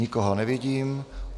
Nikoho nevidím.